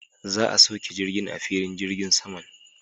Za'a sauke jirgin a filin jirgin saman.